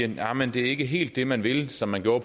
at jamen det er ikke helt det man vil som man gjorde